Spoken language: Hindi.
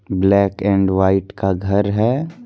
ब्लैक एंड व्हाइट का घर है।